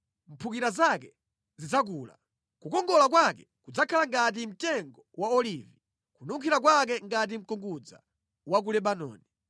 mphukira zake zidzakula. Kukongola kwake kudzakhala ngati mtengo wa olivi, kununkhira kwake ngati mkungudza wa ku Lebanoni.